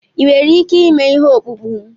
Ị nwere ike ịme ihe ọkpụkpụ m?